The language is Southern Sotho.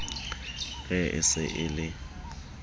re e se e le